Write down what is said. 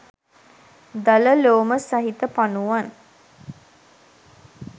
දල ලෝම සහිත පනුවන්